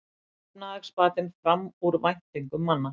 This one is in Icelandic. Efnahagsbatinn fram úr væntingum manna